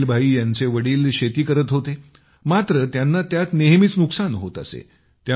इस्माईल भाई यांचे वडील शेती करत होते मात्र त्यांना त्यात नेहमीच नुकसान होत असे